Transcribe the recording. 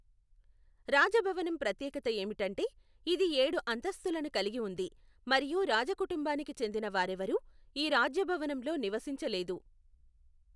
రాజభవనం ప్రత్యేకత ఏమిటంటే ఇది ఏడు అంతస్తులను కలిగి ఉంది మరియు రాజ కుటుంబానికి చెందిన వారెవరూ ఈ రాజ్యభావనంలో నివసించలేదు.